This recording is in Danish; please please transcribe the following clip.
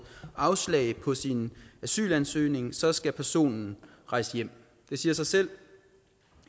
afslag på sin asylansøgning så skal personen rejse hjem det siger sig selv